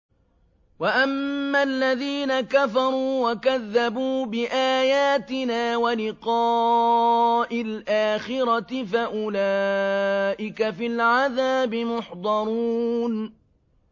وَأَمَّا الَّذِينَ كَفَرُوا وَكَذَّبُوا بِآيَاتِنَا وَلِقَاءِ الْآخِرَةِ فَأُولَٰئِكَ فِي الْعَذَابِ مُحْضَرُونَ